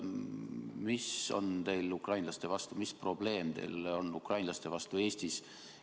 Mis on teil ukrainlaste vastu, mis probleem teil on ukrainlastega Eestis?